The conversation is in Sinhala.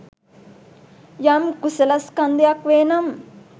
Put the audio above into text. යම් කුසලස්කන්ධයක් වෙනම්